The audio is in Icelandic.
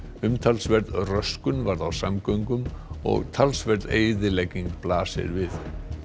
umtalsverð röskun varð á samgöngum og talsverð eyðilegging blasir við